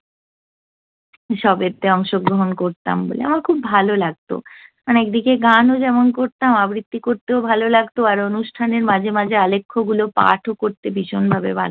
সবেতে অংশগ্রহন করতাম বলে। আমার খুব ভাললাগত। একদিকে গানও যেমন করতাম, আবৃত্তি করতেও ভাললাগত। আর অনুষ্ঠানের মাঝে মাঝে আলেখ্যগুলো পাঠও করতে ভীষণভাবে ভাললাগত